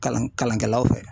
Kalan kalankɛlaw fɛ.